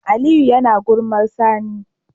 Aliyu yAna gulmar sani